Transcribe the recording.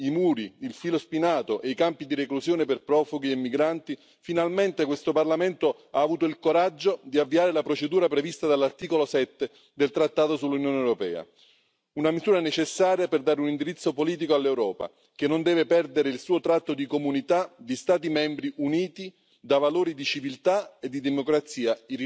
is wrong. Finally, Hungary seems to have been singled out for political reasons. Similar cases could have been made against other nations and yet they are not. Mr President, I opposed invoking Article 7 because this is not the right way to do it, because